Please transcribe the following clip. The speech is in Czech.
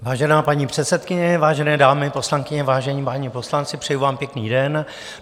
Vážená paní předsedkyně, vážené dámy poslankyně, vážení páni poslanci, přeji vám pěkný den.